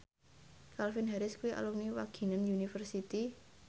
Calvin Harris kuwi alumni Wageningen University